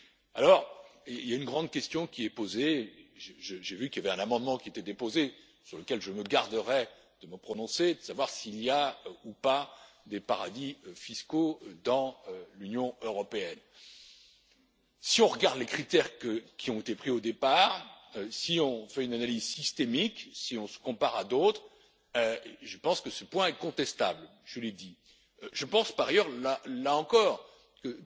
Alors, il y a une grande question qui est posée, j'ai vu qu'il y avait un amendement qui avait été déposé, sur lequel je me garderai de me prononcer, de savoir s'il y a ou pas des paradis fiscaux dans l'Union européenne. Si on regarde les critères qui ont été pris au départ, si on fait une analyse systémique, si on se compare à d'autres, je pense que ce point est contestable. Je l'ai dit. Par ailleurs, je pense, là encore,